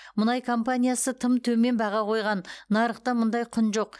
мұнай компаниясы тым төмен баға қойған нарықта мұндай құн жоқ